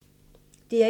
DR1